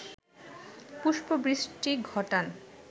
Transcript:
পুষ্পবৃষ্টি ঘটান